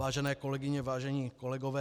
Vážené kolegyně, vážení kolegové.